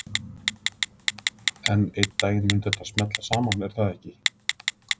En einn daginn mun þetta smella saman, er það ekki?